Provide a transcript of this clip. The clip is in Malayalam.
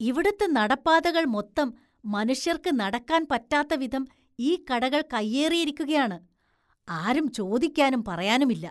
ഇവിടുത്തെ നടപ്പാതകള്‍ മൊത്തം മനുഷ്യര്‍ക്ക് നടക്കാന്‍ പറ്റാത്ത വിധം ഈ കടകള്‍ കൈയ്യേറിയിരിക്കുകയാണ്, ആരും ചോദിക്കാനും പറയാനുമില്ല.